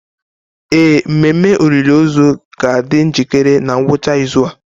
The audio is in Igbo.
Ee, mmemme olili ozu ga-adị njikere na ngwụcha izu a.